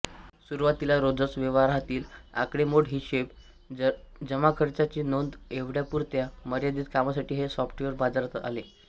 सुरुवातीला रोजच्या व्यवहारातील आकडेमोड हिशेब जमाखर्चाची नोंद एवढ्यापुरत्या मर्यादित कामासाठी हे सॉफ्टवेअर बाजारात आले